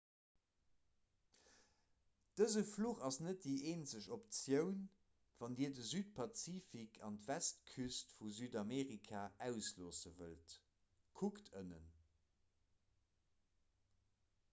dëse fluch ass net déi eenzeg optioun wann dir de südpazifik an d'westküst vu südamerika ausloosse wëllt. kuckt ënnen